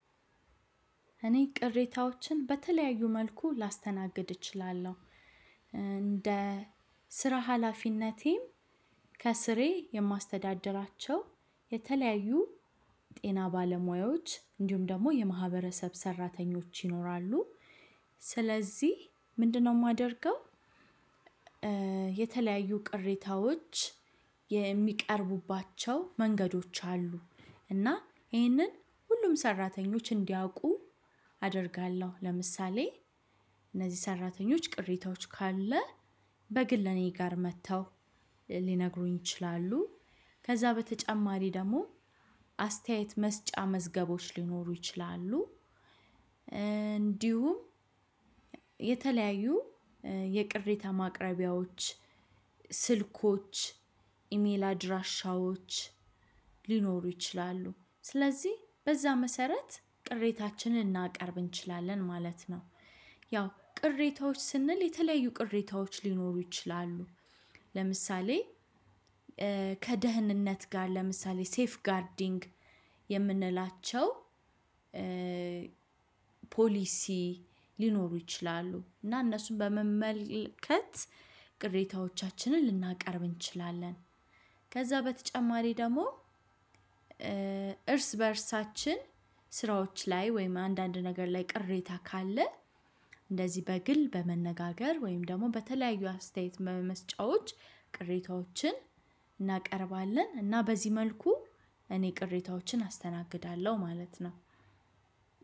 እኔ ቅሬታዎችን በተለያዩ መልኩ ላስተናግድ እችላለሁ። እንደ ስራ ሀላፊነቴም ከስሬ የማስተዳድራቸው የተለያዩ ጤና ባለሙያዎች እንዲሁም ደግሞ የማህበረሰብ ሰራተኞች ይኖራሉ። ስለዚህ ምንድነው የማደርገው። የተለያዩ ቅሬታዎች የሚቀርቡባቸው መንገዶች አሉ እና ይህንን ሁሉም ሰራተኞች እንዲያውቁ አደርጋለሁ። ለምሳሌ እነዚህ ሰራተኞች ቅሬታዎች ካለ በግል እኔ ጋር መጥተው ሊነግሩኝ ይችላሉ። ከዛ በተጨማሪ ደግሞ አስተያየት መስጫ መዝገቦች ሊኖሩ ይችላሉ። እንዲሁም የተለያዩ የቅሬታ ማቅረቢያዎች ስልኮች ኢሜል አድራሻዎች ሊኖሩ ይችላሉ። ስለዚህ በዛ መሰረት ቅሬታችንን ልናቀርብ እንችላለን ማለት ነው። ያው ቅሬታዎች ስንል የተለያዩ ቅሬታዎች ሊኖሩ ይችላሉ። ለምሳሌ ከደህንነት ጋር ለምሳሌ ሴፍ ጋርዲንግ የምንላቸው ፖሊሲ ሊኖሩ ይችላሉ። እና እነሱን በመመልከት ቅሬታዎቻችንን ልናቀርብ እንችላለን። ከዛ በተጨማሪ ደግሞ እርስ በእርሳችን ስራዎች ላይ ወይም አንዳንድ ነገር ላይ ቅሬታ ካለ እንደዚህ በግል በመነጋገር ወይም ደግሞ በተለያዩ አስተያየት መስጫዎች ቅሬታዎችን እናቀርባለን። እና በዚህ መልኩ እኔ ቅሬታዎችን አስተናግዳለሁ ማለት ነው።